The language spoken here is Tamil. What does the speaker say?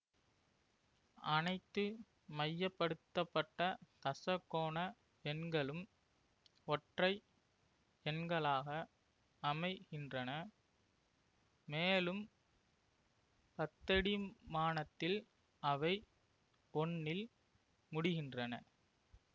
அனைத்து மையப்படுத்தப்பட்ட தசகோண எண்களும் ஒற்றை எண்களாக அமைகின்றன மேலும் பத்தடிமானத்தில் அவை ஒன்னில் முடிகின்றன